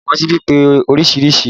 Àwọn síbi pé oríṣiríṣi